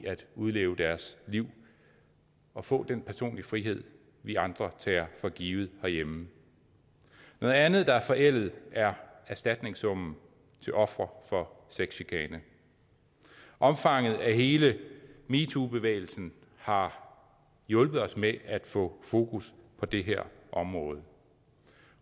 udleve deres liv og få den personlige frihed vi andre tager for givet herhjemme noget andet der er forældet er erstatningssummen til ofre for sexchikane omfanget af hele metoobevægelsen har hjulpet os med at få fokus på det her område